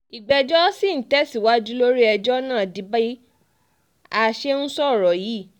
ìgbẹ́jọ́ sì ń tẹ̀síwájú lórí ẹjọ́ náà di bá a um ṣe ń sọ yìí um